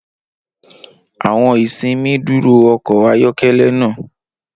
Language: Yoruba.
Awọn isinmi duro ọkọ ayọkẹlẹ naa.